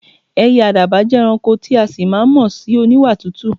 È̩yè̩ àdàbà jé̩ e̩ranko tí a sì máa mo̩ sí oníwà tútù.